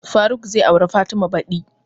Faruk zai aure fatima badi